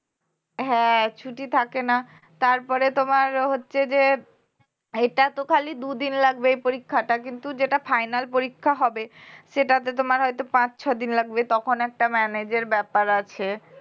হ্যাঁ ছুটি থাকে না তারপরে তোমার হচ্ছে যে এটা তো খালি দুদিন লাগবে এই পরীক্ষাটা কিন্তু যেটা final পরীক্ষা হবে সেটাতে তোমার হয়তো পাঁচ ছয় দিন লাগবে তখন একটা manage এর ব্যাপার আছে